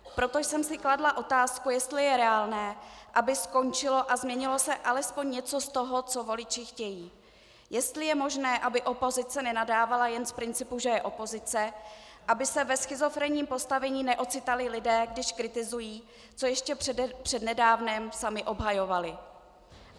Proto jsem si kladla otázku, jestli je reálné, aby skončilo a změnilo se alespoň něco z toho, co voliči chtějí, jestli je možné, aby opozice nenadávala jen z principu, že je opozice, aby se ve schizofrenním postavení neocitali lidé, když kritizují, co ještě přednedávnem sami obhajovali.